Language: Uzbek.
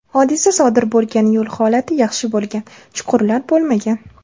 Hodisa sodir bo‘lgan yo‘l holati yaxshi bo‘lgan, chuqurlar bo‘lmagan.